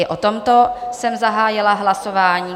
I o tomto jsem zahájila hlasování.